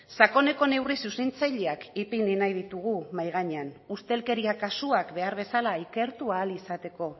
sakoneko neurri zuzentzaileak ipini nahi ditugu mahai gainean ustelkeria kasuak behar bezala ikertu ahal izateko